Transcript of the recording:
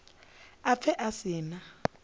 a pfe a si na